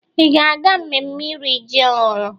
Ị ga-aga mmemme iri ji ọhụrụ?